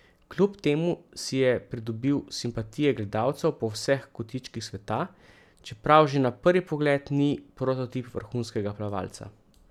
Kljub temu si je pridobil simpatije gledalcev po vseh kotičkih sveta, čeprav že na prvi pogled ni prototip vrhunskega plavalca.